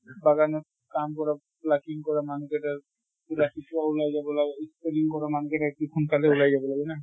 বাগানত কাম কৰা plucking কৰা মানুহ কেইটাৰ ৰাতিপুৱাই ওলাই যাব লাগে কৰা মানুহ কেইটা সোনকালে ওলাই যাব লাগে না